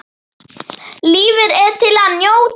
Lífið er til að njóta.